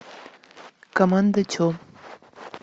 команда че